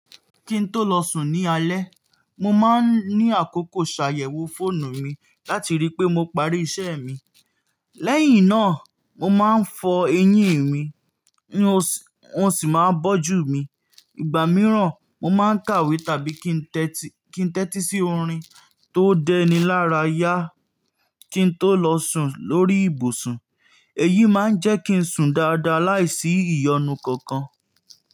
Kí n tó lọ sùn ní alẹ́, mo máa ń ní àkókò ṣàyẹ̀wò fóònù mi láti rí pé mo parí iṣẹ́ mi. Lẹ́yìn náà, mo máa ń fọ eyín mi, wọn sì máa ń bójú mi. Ìgbà mìíràn, mo máa ń kàwé tàbí kí n tẹ́tí sí orin tó dẹni lára yá kí n tó lọ sùn lórí ibùsùn. Èyí máa ń jẹ́ kí n sùn dáadáa láìsí ìyọnu kankan.